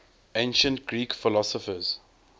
ancient greek philosophers